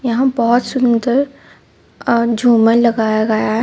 यहां बहुत सुंदर अ-झूमर लगाया गया है.